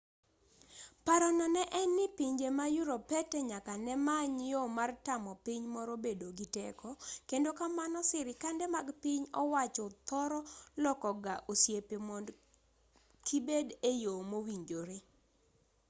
parono ne en ni pinje ma europete nyaka nemany yo mar tamo piny moro bedo gi teko kendo kamano sirikande mag piny owacho thoro loko ga osiepe mond kibed eyo mowinjore